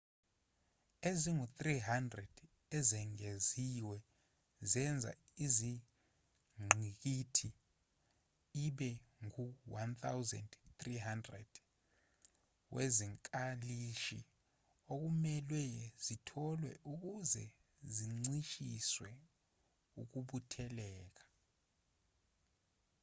ezingu-300 ezengeziwe zenza ingqikithi ibe ngu-1,300 wezinkalishi okumelwe zitholwe ukuze kuncishiswe ukubutheleka